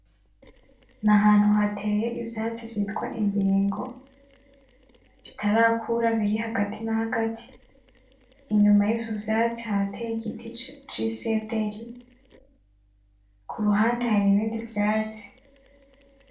Ni ahantu hateye ivyatsi vy'itwa imbingo bitarakura biri hagati na hagati inyuma yivyo vyatsi hateye igiti c'isederi kuruhande hari ibindi vyatsi.